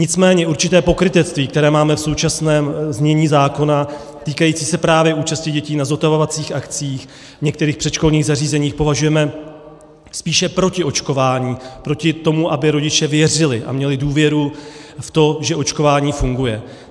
Nicméně určité pokrytectví, které máme v současném znění zákona, týkající se právě účasti dětí na zotavovacích akcích v některých předškolních zařízeních, považujeme spíše proti očkování, proti tomu, aby rodiče věřili a měli důvěru v to, že očkování funguje.